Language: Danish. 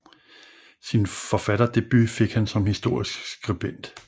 Sin forfatterdebut fik han som historisk skribent